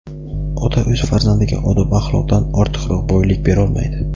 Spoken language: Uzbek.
"Ota o‘z farzandiga odob-axloqdan ortiqroq boylik berolmaydi."